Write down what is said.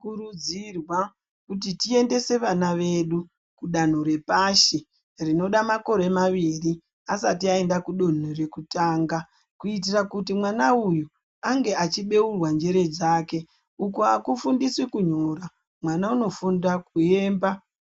Tinokurudzirwa kuti tiendese vana vedu kudanho repashi rinoda makore mairi asati aenda kudanho rekutanga, kuitira kuti mwana uyu ange achibeurwa njere dzake. Ukunakufundiswi kunyora, mwana unofundiswa kuyemba